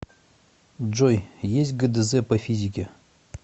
джой есть гдз по физике